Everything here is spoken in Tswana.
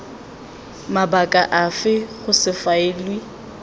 mabaka afe go se faeliwe